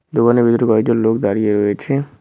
দোকানের ভিতরে কয়েকজন লোক দাঁড়িয়ে রয়েছে।